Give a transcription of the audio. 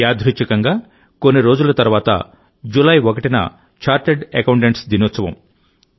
యాదృచ్ఛికంగాకొన్ని రోజుల తర్వాత జూలై 1న చార్టర్డ్ అకౌంటెంట్స్ దినోత్సవం